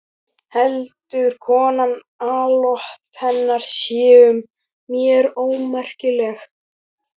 Heldur konan að atlot hennar séu mér ómakleg?